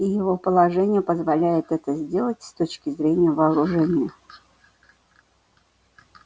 и его положение позволяет это сделать с точки зрения вооружения